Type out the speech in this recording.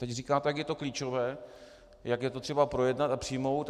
Teď říkáte, jak je to klíčové, jak je to třeba projednat a přijmout.